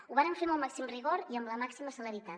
ho vàrem fer amb el màxim rigor i amb la màxima celeritat